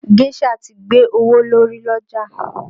Géșà ti gbé owó lórí l'ọ́jà